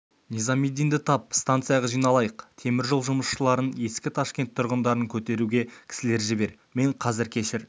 низамеддинді тап станцияға жиналайық темір жол жұмысшыларын ескі ташкент тұрғындарын көтеруге кісілер жібер мен қазір кешір